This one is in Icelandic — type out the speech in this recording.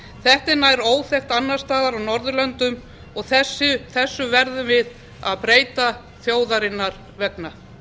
er nær óþekkt annars staðar á norðurlöndum og þessu verðum við að breyta þjóðarinnar vegna